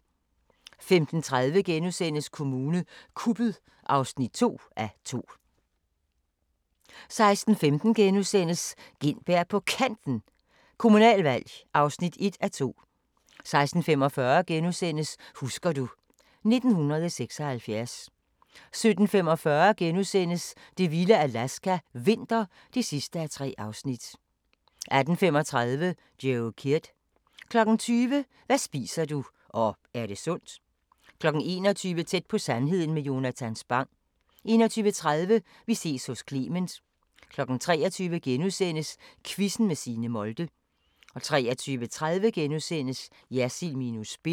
15:30: Kommune kuppet (2:2)* 16:15: Gintberg på Kanten – Kommunalvalg (1:2)* 16:45: Husker du ... 1976 * 17:45: Det vilde Alaska – vinter (3:3)* 18:35: Joe Kidd 20:00: Hvad spiser du – og er det sundt? 21:00: Tæt på sandheden med Jonatan Spang 21:30: Vi ses hos Clement 23:00: Quizzen med Signe Molde * 23:30: Jersild minus spin *